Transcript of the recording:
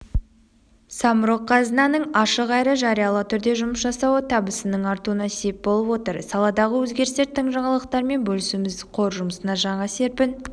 самрұқ-қазынаның ашық әрі жариялы түрде жұмыс жасауы табысының артуына сеп болып отыр саладағы өзгерістер тың жаңалықтармен бөлісуіміз қор жұмысына жаңа серпін